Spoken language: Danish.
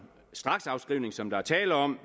straksafskrivning som der er tale om